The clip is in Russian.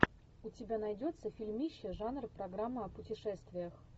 у тебя найдется фильмище жанр программа о путешествиях